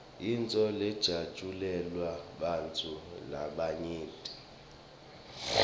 yintfo lejatjulelwa bantfu labanyenti